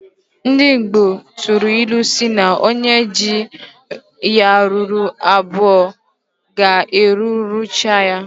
Ndi igbo tụrụ ilu si na onye ji ya ruru abụọ ga egwuruchaya.